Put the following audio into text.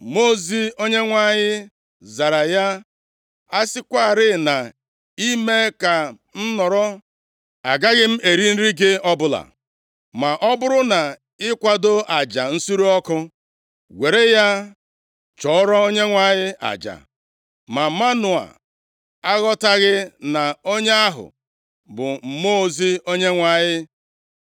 Ma Mmụọ ozi Onyenwe anyị zara ya, “A sịkwarị na i mee ka m nọrọ, agaghị m eri nri gị ọbụla. Ma ọ bụrụ na i kwadoo aja nsure ọkụ, were ya chụọrọ Onyenwe anyị aja.” Ma Manoa aghọtaghị na onye ahụ bụ Mmụọ ozi Onyenwe anyị.